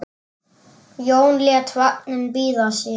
Jón lét vagninn bíða sín.